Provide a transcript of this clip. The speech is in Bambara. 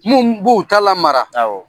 Mun b'o ta lamara